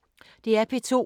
DR P2